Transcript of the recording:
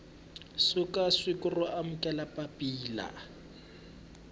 suka siku ro amukela papila